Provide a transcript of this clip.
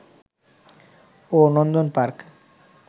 ও Nandan park